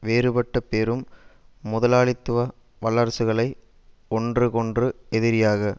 வேறுபட்ட பெரும் முதலாளித்துவ வல்லரசுகளை ஒன்றுக்கொன்று எதிரியாக